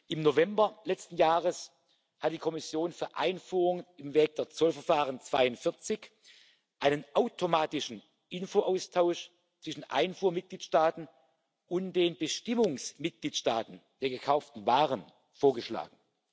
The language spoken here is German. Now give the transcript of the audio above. Im November letzten Jahres hat die Kommission für Einfuhren im Wege des Zollverfahrens 42 einen automatischen Informationsaustausch zwischen den Einfuhrmitgliedstaaten und den Bestimmungsmitgliedstaaten der gekauften Waren vorgeschlagen.